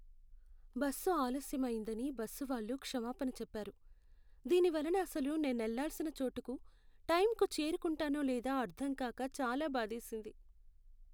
Bus ఆలస్యం అయ్యిందని bus వాళ్ళు క్షమాపణ చెప్పారు. దీని వలన అసలు నేనెళ్ళాల్సిన చోటుకు టైంకు చేరుకుంటానో లేదో అర్ధంకాక చాలా బాధేసింది.